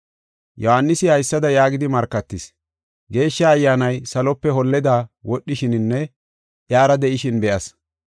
Yohaanisi haysada yaagidi markatis: “Geeshsha Ayyaanay salope holleda wodhishininne iyara de7ishin be7as.